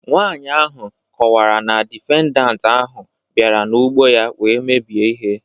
Nwaanyị ahụ kọwara na difendant ahụ bịara n'ụgbọ ya wee mebie ihe